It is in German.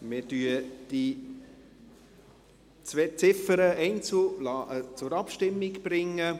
Ich lasse die zwei Ziffern einzeln zur Abstimmung bringen.